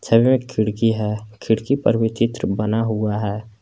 सामने एक खिड़की है खिड़की पर भी चित्र बना हुआ है।